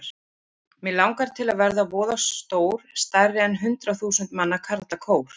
Mig langar til að verða voða stór stærri en hundrað þúsund manna karlakór.